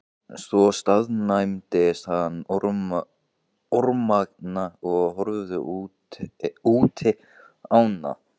Svo staðnæmdist hann örmagna og horfði útí ána.